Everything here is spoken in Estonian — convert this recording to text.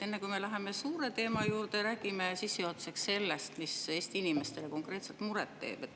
Enne kui me läheme suure teema juurde, räägime sissejuhatuseks sellest, mis Eesti inimestele konkreetselt muret teeb.